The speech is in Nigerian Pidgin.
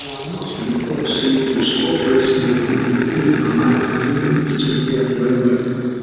our nurse been talk say to store breast milk dey improve mama and even pikin health wellwell